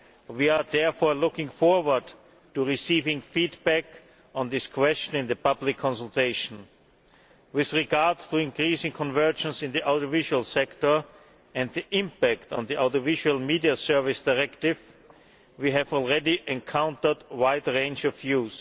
We are therefore looking forward to receiving feedback on this question in the public consultation. With regard to increasing convergence in the audiovisual sector and the impact on the Audiovisual Media Services Directive, we have already encountered a wide range of views.